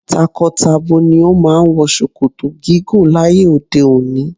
Tako-tabo ni o máà ń wọ ṣòkòtò gígùn láyé òde òni.